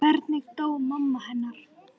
Hvernig dó mamma hennar?